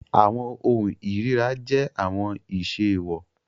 Awọn ohun irira jẹ awọn iṣe eewọ